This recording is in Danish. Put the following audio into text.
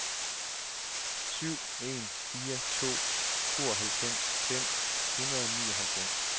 syv en fire to tooghalvfems fem hundrede og nioghalvfems